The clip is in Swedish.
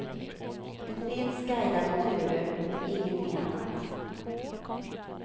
Det finns guidade turer men ingenting annat.